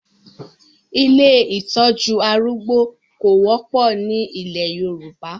Ilé ìtọ́jú arúgbó kò wọ́pọ̀ ni ilẹ̀ Yorùbá.